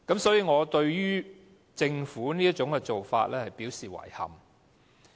所以，我對政府這種做法表示遺憾。